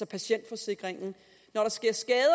patientforsikringen når der sker skader